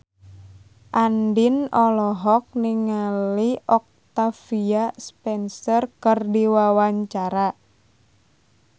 Andien olohok ningali Octavia Spencer keur diwawancara